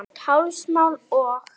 Blátt hálsmál og